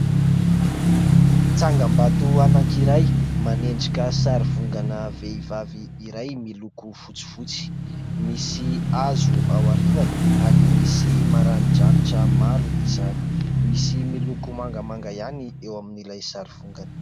Tsangambato anankiray manendrika sarifongana vehivavy iray, miloko fotsifotsy, misy hazo ao aorinany ary misy maranidranitra maro izany, misy miloko mangamanga ihany eo amin'ilay sarifongana.